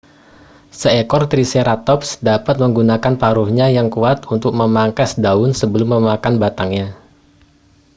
seekor triceratops dapat menggunakan paruhnya yang kuat untuk memangkas daun sebelum memakan batangnya